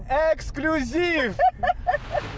эксклюзив